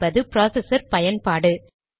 சிC என்பது ப்ராசஸர் பயன்பாடு